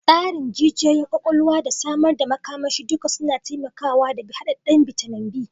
Tsarin jijiyoyin kwakwalwa da samar da makamashi duka suna taimakawa da hadadden bitamin B.